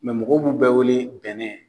mɔgɔw b'u bɛɛ wele bɛnɛ